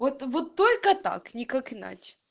вот вот только так никак иначе